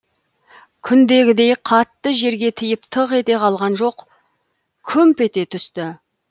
күндегідей қатты жерге тиіп тық ете қалған жоқ күмп ете түсті